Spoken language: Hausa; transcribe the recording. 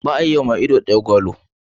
Ba a yi wa mai ido daya gwalo.